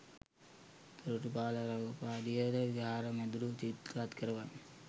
දොරටුපාල රූපාදිය ද විහාර මැදුරු විචිත්‍රවත් කරවයි.